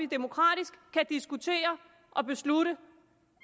demokratisk kan diskutere og beslutte